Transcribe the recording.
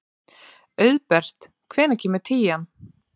Auðbert, hvenær kemur tían?